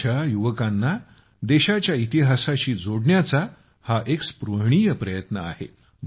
आमच्या युवकांना देशाच्या इतिहासाशी जोडण्याचा हा एक स्पृहणीय प्रयत्न आहे